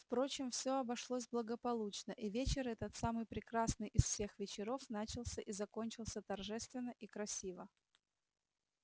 впрочем всё обошлось благополучно и вечер этот самый прекрасный из всех вечеров начался и закончился торжественно и красиво